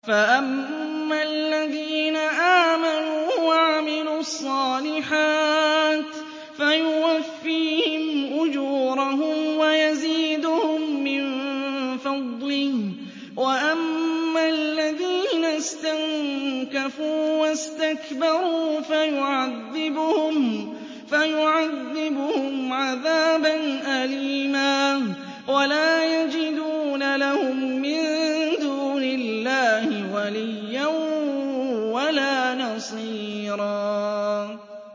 فَأَمَّا الَّذِينَ آمَنُوا وَعَمِلُوا الصَّالِحَاتِ فَيُوَفِّيهِمْ أُجُورَهُمْ وَيَزِيدُهُم مِّن فَضْلِهِ ۖ وَأَمَّا الَّذِينَ اسْتَنكَفُوا وَاسْتَكْبَرُوا فَيُعَذِّبُهُمْ عَذَابًا أَلِيمًا وَلَا يَجِدُونَ لَهُم مِّن دُونِ اللَّهِ وَلِيًّا وَلَا نَصِيرًا